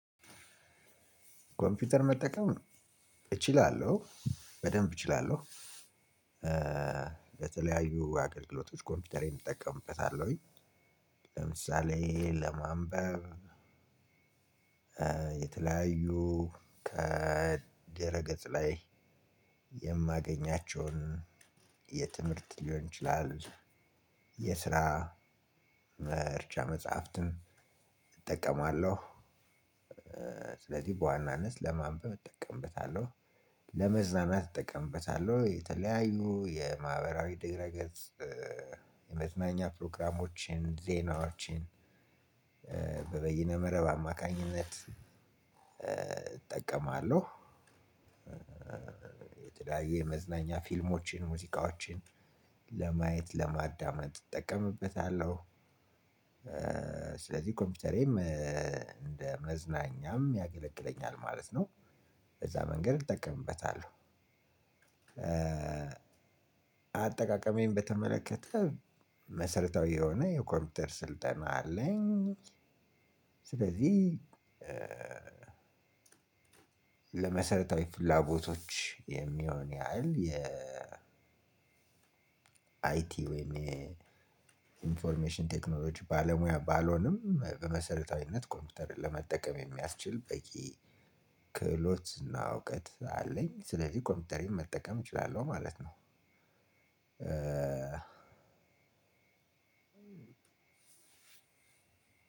ኮምፒውተር መጠቀም እችላለሁ በደንብ እችላለሁ። በተለያዩ አገልግሎቶች ኮምፒውተሬን እጠቀምበታለሁኝ ለምሳሌ ለማንበብ የተለያዩ ከድረ ገጽ ላይ የማገኛቸውን የትምህርት ሊሆን ይችላል የስራ መርጃ መፅሃፍትን እጠቀማለሁ። ስለዚህ በዋናነት ለማንበብ እጠቀምበታለሁ ለመዝናናት እጠቀምበታለሁ የተለያዩ የማህበራዊ ድህረ ገጽ የመዝናኛ ፕሮግራሞችን ዜናዎችን በበይነ መረብ አማካኝነት እጠቀማለሁ። የተለያየ የመዝናኛ ፊልሞችን ሙዚቃዎችን ለማየት ለማዳመጥ እጠቀምበታለሁ። ስለዚህ ኮምፒውተሬም እንደ መዝናኛም ያገለግለኛል ማለት ነው በዛ መንገድ እጠቀምበታለሁ። አጠቃቀሜን በተመለከተ መሰረታዊ የሆነ የኮምፒውተር ስልጠና አለኝ። ስለዚህ ለመሰረታዊ ፍላጎቶች የሚሆን ያህል የ አይቲ ወይም የ ኢንፎርሜሽን ቴክኖሎጂ ባለሙያ ባልሆንም በመሰረታዊነት ኮምፒውተርን ለመጠቀም የሚያስችል በቂ ክህሎት እና እውቀት አለኝ ስለዚህ ኮምፒውተሬን መጠቀም እችላለሁ ማለት ነው። እ